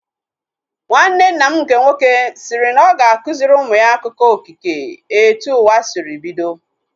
Nwanne nna m nke nwoke sịrị na ọ ga-akụziri ụmụ ya akụkọ okike etu ụwa sịrị bido